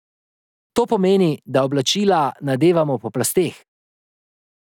To pomeni, da oblačila nadevamo po plasteh.